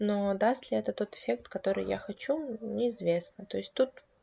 но даст ли это тот эффект который я хочу неизвестно то есть тут